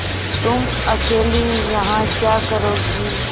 तुम अकेली यहाँ क्या करोगी